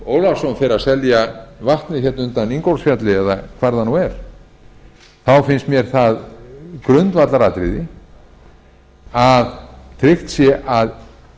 ólafsson fer að selja vatnið hérna undan ingólfsfjalli eða hvar það nú er þá finnst mér það grundvallaratriði að tryggt sé að